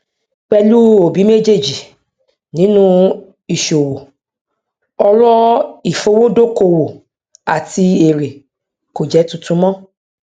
pẹlú òbí méjèèjì nínú ìṣòwò ọrọ ìfowódókòwò àti èrè kò jẹ tuntun mọ